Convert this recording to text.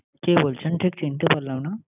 কে বলছেন ঠিক চিনতে পারলাম না।